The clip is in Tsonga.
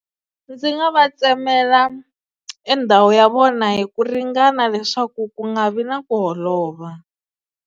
Ndzi nga va tsemela e ndhawu ya vona hi ku ringana leswaku ku nga vi na ku holova.